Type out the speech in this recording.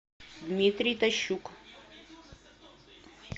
дмитрий тащук